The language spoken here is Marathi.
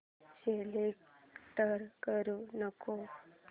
सिलेक्ट करू नको